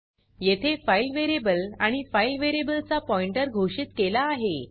येथे file variable आणि file variable चा आणि पॉइंटर चा घोषित केला आहे